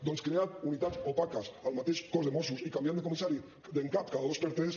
doncs creant unitats opaques al mateix cos de mossos i canviant de comissari en cap cada dos per tres